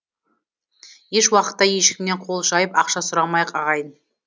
еш уақытта ешкімнен қол жайып ақша сұрамайық ағайын